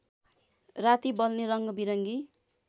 राति बल्ने रङ्गबिरङ्गी